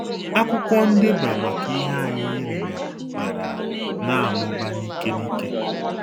Akwụkwọ ndeba maka ihe anyị erere bịara na-amụba n'ike n'ike.